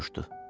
Soruşdu.